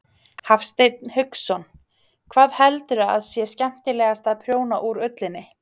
Hafsteinn Hauksson: Hvað heldurðu að sé skemmtilegast að prjóna úr ullinni?